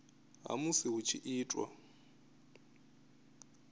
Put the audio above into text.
ha musi hu tshi itwa